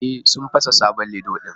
E, sun fasa sabon lido din